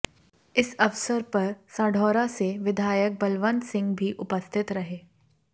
इस अवसर पर साढौरा से विधायक बलवंत सिंह भी उपस्थित रहे